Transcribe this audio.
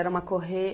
Era uma corre